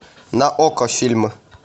на окко фильмы